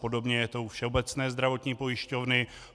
Podobně je to u Všeobecné zdravotní pojišťovny.